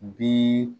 Bi